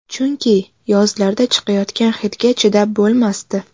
Chunki yozlarda chiqayotgan hidga chidab bo‘lmasdi.